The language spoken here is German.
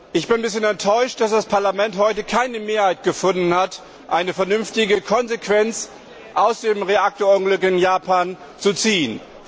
Ich bin etwas enttäuscht, dass das Parlament heute keine Mehrheit gefunden hat, um vernünftige Konsequenzen aus dem Reaktorunglück in Japan zu ziehen.